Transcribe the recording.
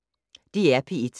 DR P1